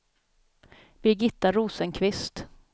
Birgitta Rosenqvist